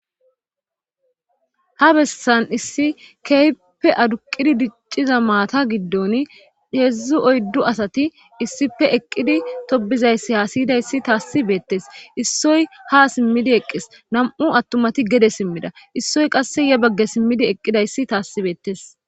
ha bessan issi kehiyppe aduqqidi dicciza maata giddon heedzdzu oyddu asati issife eqqidi tobizayssi haa siyidayssi taassi beettes issoy ha simmidi eqqis nam7u attumati gede simmida issoy qasse ye bagge simmidi eqqidayssi taassi beettes